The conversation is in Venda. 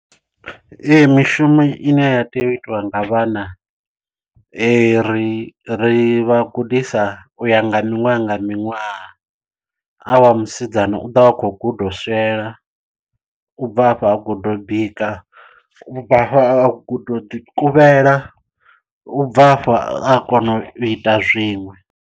Ee mishumo ine ya tea u itiwa nga vhana ri ri vha gudisa u ya nga miṅwaha nga miṅwaha a wa musidzana u ḓo vha a khou guda u swiela, u bva afho a guda u bika, u bva afho a guda u ḓi kuvhela, u bva afho a kona u ita zwiṅwe.